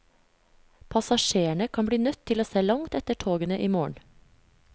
Passasjerene kan bli nødt til å se langt etter togene i morgen.